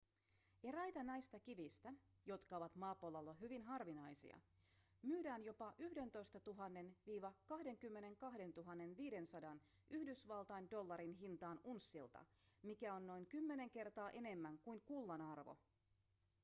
eräitä näistä kivistä jotka ovat maapallolla hyvin harvinaisia myydään jopa 11 000-22 500 yhdysvaltain dollarin hintaan unssilta mikä on noin kymmenen kertaa enemmän kuin kullan arvo